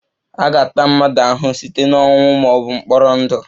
A ga-ata mmadụ ahụhụ site na ọnwụ ma ọ bụ mkpọrọ ndụ